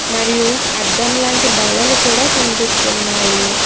మరియు అద్దం లాంటి బల్లలు కూడా కనిపిస్తున్నాయి.